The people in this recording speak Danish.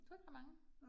Du har ikke ret mange